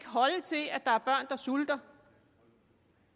holde til at der er børn der sulter